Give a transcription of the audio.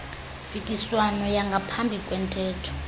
mpikiswano yangaphambi kwentetho